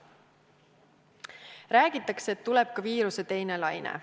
Räägitakse, et tuleb ka viiruse teine laine.